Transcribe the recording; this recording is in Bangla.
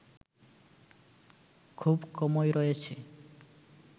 খুব কমই রয়েছে